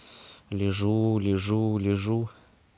лежу лежу лежу